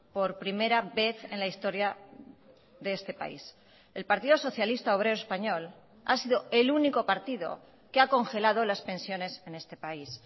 por primera vez en la historia de este país el partido socialista obrero español ha sido el único partido que ha congelado las pensiones en este país